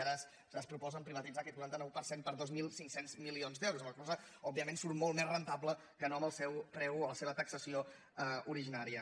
ara es proposen privatitzar aquest quaranta nou per cent per dos mil cinc cents milions d’euros amb la qual cosa òbviament surt molt més rendible que no amb el seu preu o la seva taxació originària